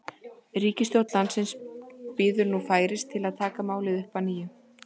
Ríkisstjórn landsins bíður nú færis til að taka málið upp að nýju.